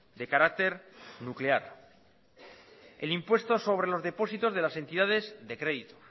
de carácter nuclear el impuesto sobre los depósitos de las entidades de crédito